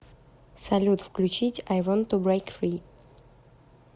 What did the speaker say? салют включить ай вонт ту брейк фри